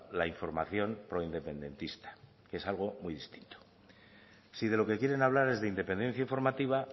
la información proindependentista que es algo muy distinto si de lo que quieres hablar es de independencia informativa